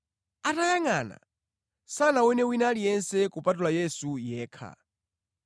Atayangʼana, sanaone wina aliyense kupatula Yesu yekha.